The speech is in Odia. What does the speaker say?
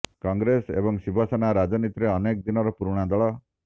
କଂଗ୍ରେସ ଏବଂ ଶିବସେନା ରାଜନୀତିରେ ଅନେକ ଦିନର ପୁରୁଣା ଦଳ